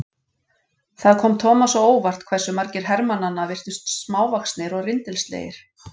Það kom Thomas á óvart hversu margir hermannanna virtust smávaxnir og rindilslegir.